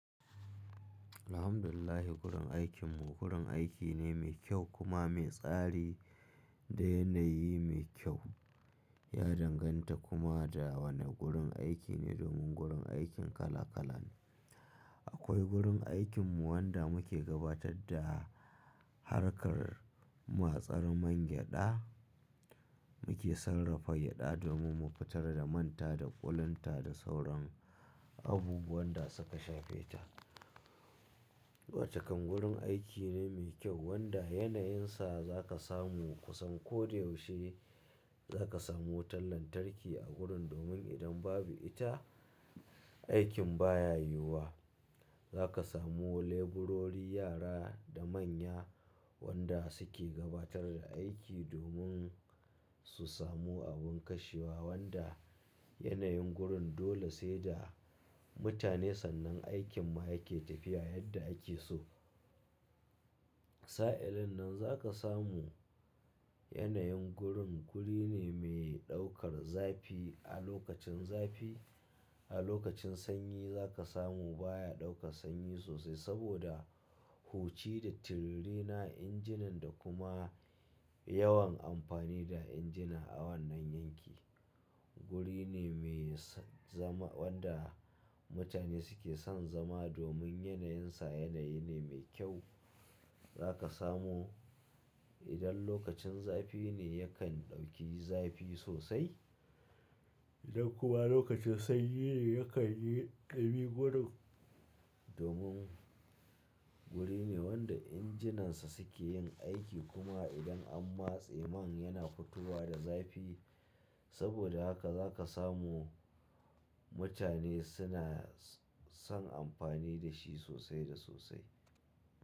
Alhamdulillah, gurin aikinmu gurin aiki ne mai kyau kuma mai tsari da yanayi mai kyau. Ya danganta kuma da wane gurin aiki ne domin gurin aikin kala kala ne. Akwai gurin aikinmu wanda muke gabatar da harkar matsar man gyada. Muke sarrafa gyada domin mu fitar da manta da ƙulunta da sauran abubuwan da suka shafe ta. Wacca kan gurin aiki ne mai kyau wanda yanayinsa za ka samu kusan ko da yaushe. Za ka samu wutar lantarki a gurin domin idan babu ita, aikin baya yiwuwa. Za ka samu leburori, yara da manya wanda suke gabatar da aiki domin su samu abin kashewa wanda yanayin gurin dole sai da mutane sannan aikin ma yake tafiya yadda ake so. Sa'illin nan za ka samu yanayin gurin guri ne mai ɗaukar zafi a lokacin zafi. A lokacin sanyi za ka samu baya ɗaukar sanyi sosai saboda hoci da tirirena injinan da kuma yawan amfani da injina a wannan yanki. Guri ne mai zama wanda mutane suke son zama domin yanayinsa yanayi ne mai kyau. Za ka samu idan lokacin zafi ne yakan ɗauki zafi sosai idan kuma lokacin sanyi ne yakan yi ɗumi gurin domin guri ne wanda injinansa suke yin aiki kuma idan an matse man yana fitowa da zafi. Saboda haka za ka samu mutane suna son amfani da shi sosai da sosai.